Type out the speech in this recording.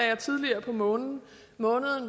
jeg tidligere på måneden